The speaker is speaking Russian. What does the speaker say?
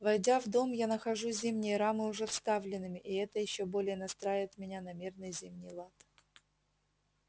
войдя в дом я нахожу зимние рамы уже вставленными и это ещё более настраивает меня на мирный зимний лад